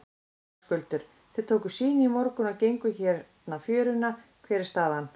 Höskuldur: Þið tókuð sýni í morgun og genguð hérna fjöruna, hver er staðan?